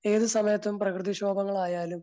ഏതു സമയത്തും പ്രകൃതിക്ഷോഭങ്ങളായാലും